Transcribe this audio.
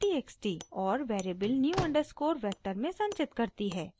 और variable new underscore vector में संचित करती है